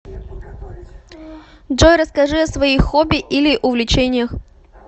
джой расскажи о своих хобби или увлечениях